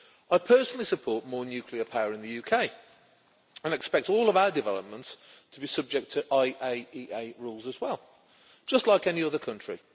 I personally support more nuclear power in the UK, and expect all of our developments to be subject to IAEA rules as well just like any other country.